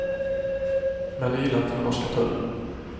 Men det gillade inte den norska tullen.